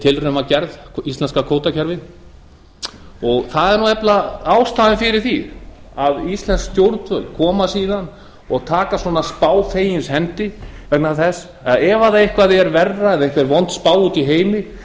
tilraun var gerð íslenska kvótakerfið það er nefnilega ástæðan fyrir því að íslensk stjórnvöld taka svona spá fegins hendi ef eitthvað er verra en vond spá úti í heimi